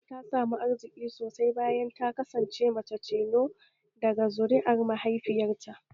Kulu ta samu arziki sosai bayan ta kasance mace tilo daga zuri'an mahaifiyarta